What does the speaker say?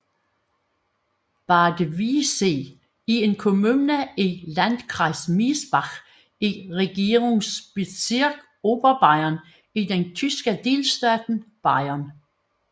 Bad Wiessee er en kommune i Landkreis Miesbach i Regierungsbezirk Oberbayern i den tyske delstat Bayern